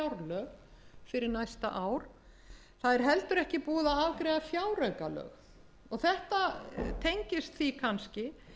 fjárlög fyrir næsta ár það er heldur ekki búið að afgreiða fjáraukalög þetta tengist því kannski